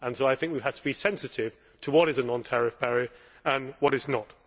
So I think we have to be sensitive to what is a non tariff barrier and what is not.